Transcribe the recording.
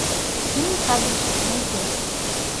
фильм кабельщик найди